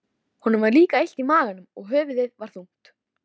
Honum var líka illt í maganum og höfuðið var þungt.